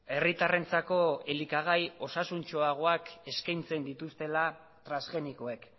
herritarrentzako elikagai osasuntsuagoak eskaintzen dituztela transgenikoek